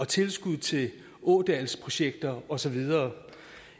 tilskud til ådalsprojekter og så videre